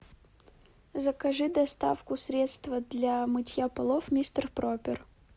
закажи доставку средства для мытья полов мистер пропер